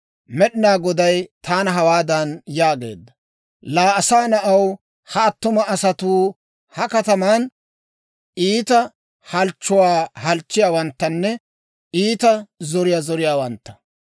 Med'inaa Goday taana hawaadan yaageedda; «Laa asaa na'aw, ha attuma asatuu ha kataman iita halchchuwaa halchchiyaawanttanne iita zoriyaa zoriyaawantta.